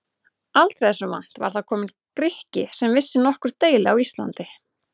Aldrei þessu vant var þar kominn Grikki sem vissi nokkur deili á Íslandi!